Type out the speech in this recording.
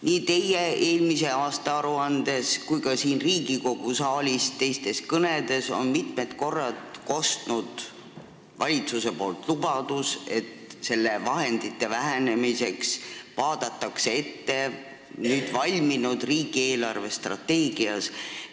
Nii teie eelmise aasta aruandes kui ka siin Riigikogu saalis teistes kõnedes on mitmed korrad kostnud valitsuse lubadus, et selle raha vähenemist arvestatakse nüüd valminud riigi eelarvestrateegias.